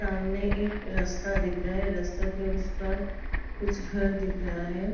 सामने एक रस्ता दिख रहा है। रस्ता के उस पार कुछ घर दिख रहा है।